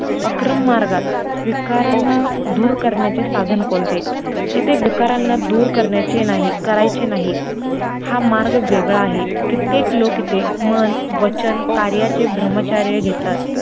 अक्रम मार्गात विकारांना दूर करण्याचे साधन कोणते इथे विकारांना दूर करण्याचे नाही, करायचे नाही हा मार्ग वेगळा आहे, कित्येक लोक इथे मन, वचन, कार्याचे ब्रम्हचर्य घेतात